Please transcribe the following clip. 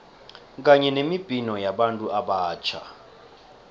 kanye nemibhino yabantu abatjha